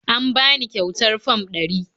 Am bani ƙyautar Fam ɗari